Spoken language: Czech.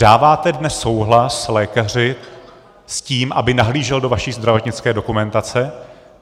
Dáváte dnes souhlas lékaři s tím, aby nahlížel do vaší zdravotnické dokumentace?